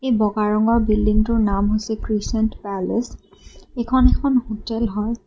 এই বগা ৰঙৰ বিল্ডিংটোৰ নাম হৈছে ক্ৰিছেণ্ট পেলেচ এইখন এখন হোটেল হয়।